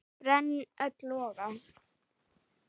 brenn öll loga